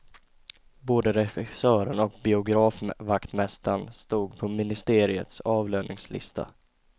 Både regissören och biografvaktmästaren stod på ministeriets avlöningslista.